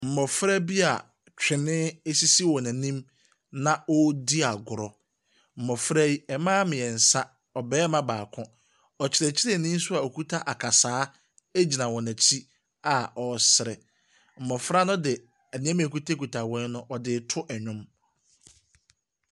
Mmɔfra bia twene sisi wan anim, na wɔredi agorɔ. Mmɔfra yi, mmaa mmeɛnsa, ɔbarima baako. Ɔkyerɛkyerɛni nso a ɔkita akasaa gyina wɔn akyi a ɔresere. Mmɔfra no de nneɛma a ɛkitakita wɔn no, wɔde reto nnwom.